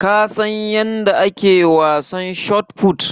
Ka San yanda ake wasan shotput?